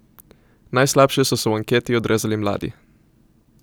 Najslabše so se v anketi odrezali mladi.